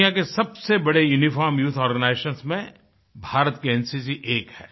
दुनिया के सबसे बड़े यूनिफॉर्म्ड यूथ आर्गेनाइजेशंस में भारत की एनसीसी एक है